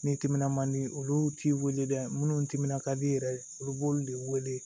Ni timinan man di olu t'i weele dɛ munnu timinan ka di yɛrɛ olu b'olu de wele